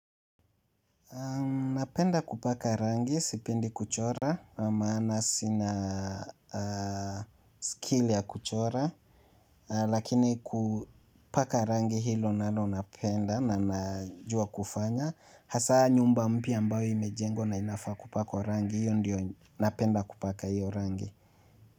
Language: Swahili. Napenda kupaka rangi, sipendi kuchora, maana sina akili ya kuchora, lakini kupaka rangi hilo nalo napenda na najua kufanya, hasa nyumba mpya ambayo imejengwa na inafaa kupaka kwa rangi, hiyo ndiyo napenda kupaka hiyo rangi.